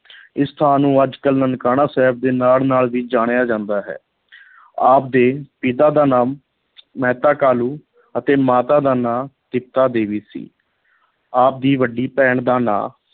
ਇਸ ਸਥਾਨ ਨੂੰ ਅੱਜ ਕੱਲ੍ਹ ਨਨਕਾਣਾ ਸਾਹਿਬ ਦੇ ਨਾਂ ਨਾਲ ਵੀ ਜਾਣਿਆ ਜਾਂਦਾ ਹੈ ਆਪ ਦੇ ਪਿਤਾ ਦਾ ਨਾਮ ਮਹਿਤਾ ਕਾਲੂ ਅਤੇ ਮਾਤਾ ਦਾ ਨਾਂ ਤ੍ਰਿਪਤਾ ਦੇਵੀ ਸੀ ਆਪ ਦੀ ਵੱਡੀ ਭੈਣ ਦਾ ਨਾਂ